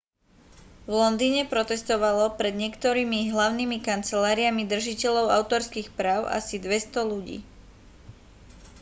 v londýne protestovalo pred niektorými hlavnými kanceláriami držiteľov autorských práv asi 200 ľudí